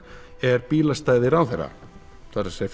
er bílastæði ráðherra það er